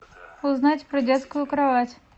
узнать про детскую кровать